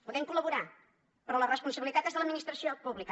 podem col·laborar però la responsabilitat és de l’administració pública